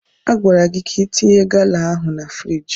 Agwara gị ka itinye gala ahụ na friiji!